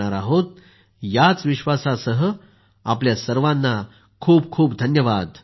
याच विश्वासासह आपल्या सर्वांना खूप खूप धन्यवाद नमस्कार